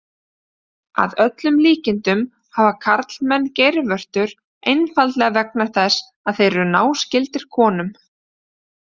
Að öllum líkindum hafa karlmenn geirvörtur einfaldlega vegna þess að þeir eru náskyldir konum.